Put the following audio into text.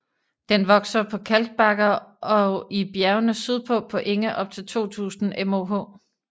Den vokser på kalkbakker og i bjergene sydpå på enge op til 2000 moh